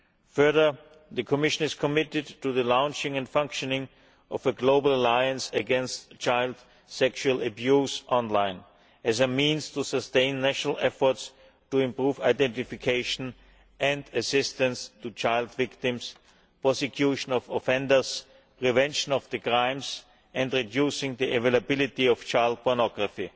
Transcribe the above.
Furthermore, the Commission is committed to the launching and functioning of a global alliance against child sexual abuse online as a means of sustaining national efforts to improve identification and assistance for child victims, prosecution of offenders, prevention of crimes and reducing the availability of child pornography.